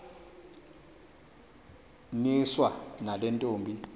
niswa nale ntombi